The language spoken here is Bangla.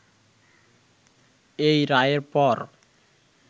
এই রায়ের পর